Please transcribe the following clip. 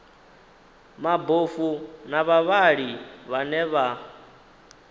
mabofu na vhavhali vhane vha